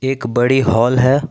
एक बड़ी हॉल है।